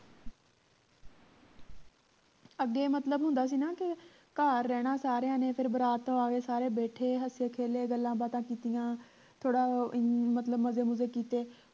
ਅੱਗੇ ਮਤਲਬ ਹੁੰਦਾ ਸੀ ਨਾ ਕੇ ਘਰ ਰਹਿਣਾ ਸਾਰਿਆਂ ਨੇ ਫੇਰ ਬਰਾਤ ਤੋਂ ਆ ਕੇ ਸਾਰੇ ਬੈਠੇ ਹੱਸੇ ਖੇਲੇ ਗੱਲਾਂ ਬਾਤਾਂ ਕੀਤੀਆਂ ਥੋੜਾਂ ਅਮ ਮਤਲਬ ਮਜੇ ਮੁਜੇ ਕੀਤੇ